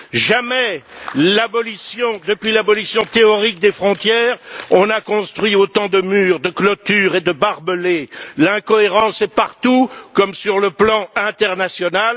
Jamais depuis l'abolition théorique des frontières, on n'a construit autant de murs, de clôtures et de barbelés. L'incohérence est partout, comme sur le plan international.